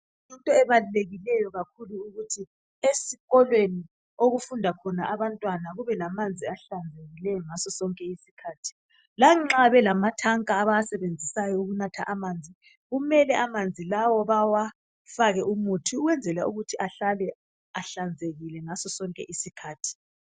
Kuyinto ebalulekileyo kakhulu ukuthi esikolweni okufunda khona abantwana kube lamanzi ahlambulukileyo ngaso sonke isikhathi. Lanxa belamatanka abawasebenzisayo okunatha amanzi kumele amanzi lawo bawafake umuthi ukwenzela ukuthi ahlale ehlanzekile ngaso sonke isikhathi.